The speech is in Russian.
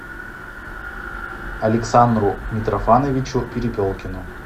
александру митрофановичу перепелкину